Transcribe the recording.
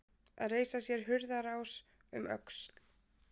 Að reisa sér hurðarás um öxl